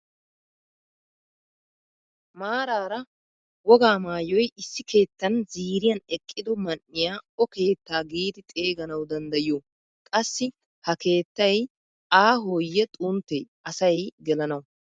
Maarara wogaa maayoy issi keettan ziiriyaan eqqido man"iyaa o keettaa giidi xeeganawu danddayiyoo? qassi ha keettay aahoye xunttee asay gelanawu?